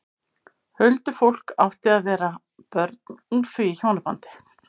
Huldufólk átti að vera börn úr því hjónabandi.